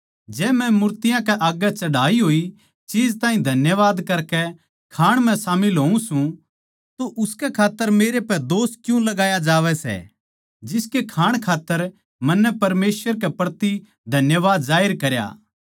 जै मै मूर्तियाँ कै आग्गै चढ़ाई होए चीज ताहीं धन्यवाद करकै खाणे म्ह शामिल होऊँ सूं तो उसकै खात्तर मेरे पै दोष क्यूँ लगाया जावै सै जिसके खाणै खात्तर मन्नै परमेसवर के प्रति धन्यवाद जाहिर करया